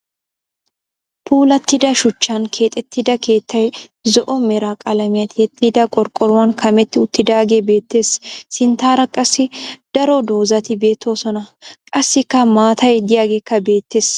Puulattida shuchchan keexettida keettay zo'o mera qalamiya tiyettida qorqqoruwan kametti uttiidaagee beettes. Sinttaara qassi daro dozzati beettoosona. Qassikka maatay diyageekka beettes.